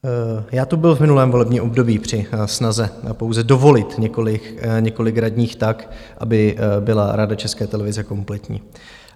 Já tu byl v minulém volebním období při snaze pouze dovolit několik radních tak, aby byla Rada České televize kompletní.